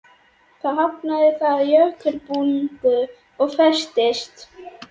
Þar hafnaði það á jökulbungu og festist.